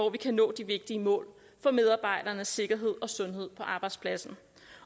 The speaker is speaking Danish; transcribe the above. at vi kan nå de vigtige mål for medarbejdernes sikkerhed og sundhed på arbejdspladsen